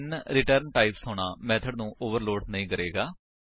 ਭਿੰਨ return types ਹੋਣਾ method ਨੂੰ ਓਵਰਲੋਡ ਨਹੀਂ ਕਰੇਗਾ